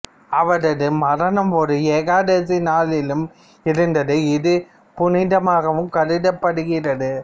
அவரது மரணம் ஒரு ஏகாதசி நாளிலும் இருந்தது இது புனிதமாகவும் கருதப்படுகிறது